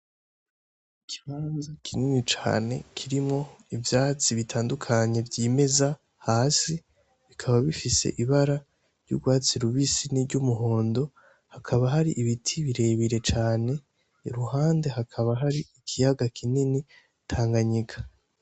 Ikibanza kinini cane kirimwo ivyatsi bitandukanye vyimeza hasi bikaba bifise ibara ry'urwatsi rubisi niry'umuhondo, hakaba hari ibiti birebire cane, iruhande hakaba hari ikiyaga kinini Tanganyika.